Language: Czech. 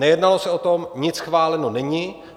Nejednalo se o tom, nic schváleno není.